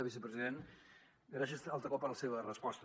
vicepresident gràcies altre cop per la seva resposta